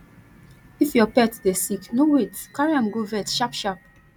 if your pet dey sick no wait carry am go vet sharpsharp